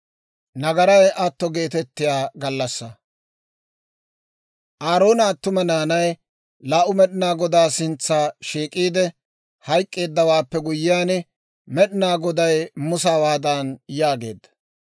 Aaroona attuma naanay laa"u Med'inaa Godaa sintsa shiik'iide hayk'k'eeddawaappe guyyiyaan, Med'inaa Goday Musa hawaadan yaageedda.